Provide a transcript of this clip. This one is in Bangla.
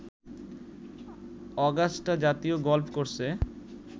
অগাস্টা জাতীয় গলফ কোর্সে